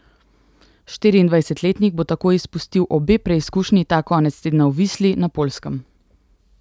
Štiriindvajsetletnik bo tako izpustil obe preizkušnji ta konec tedna v Visli na Poljskem.